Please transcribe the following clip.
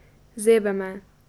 Zebe me.